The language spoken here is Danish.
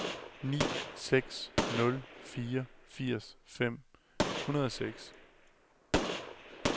ni seks nul fire firs fem hundrede og seks